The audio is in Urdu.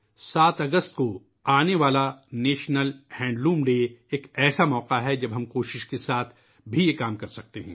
7 اگست کو آنے والا قومی یومِ ہینڈلوم ایک ایسا ہی موقع ہے ، جب ہم کوشش کرکے بھی یہ کام کرسکتے ہیں